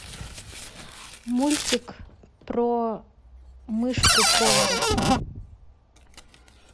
мультик про мышку повара